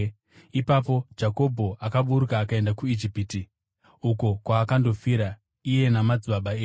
Ipapo Jakobho akaburuka akaenda kuIjipiti, uko kwaakandofira iye namadzibaba edu.